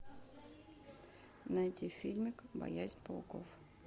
найти фильмик боязнь пауков